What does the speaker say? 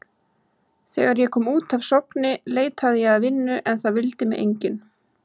Þegar ég kom út af Sogni leitaði ég að vinnu en það vildi mig enginn.